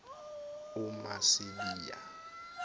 umasibiya